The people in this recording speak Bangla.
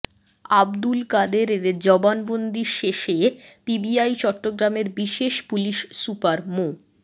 আবদুল কাদেরের জবানবন্দি শেষে পিবিআই চট্টগ্রামের বিশেষ পুলিশ সুপার মো